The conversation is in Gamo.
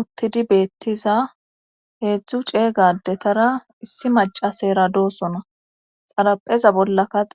uttidi beettiza heedzdzu ceegadetara issi maca seera doosona xarapheza bolla kade